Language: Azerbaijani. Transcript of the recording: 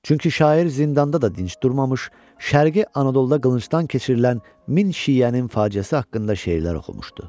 Çünki şair zindanda da dinc durmamış, Şərqi Anadoluda qılıncdan keçirilən min şiənin faciəsi haqqında şeirlər oxumuşdu.